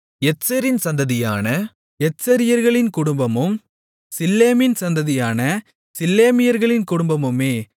எத்செரின் சந்ததியான எத்செரியர்களின் குடும்பமும் சில்லேமின் சந்ததியான சில்லேமியர்களின் குடும்பமுமே